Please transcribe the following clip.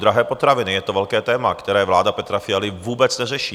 Drahé potraviny - je to velké téma, které vláda Petra Fialy vůbec neřeší.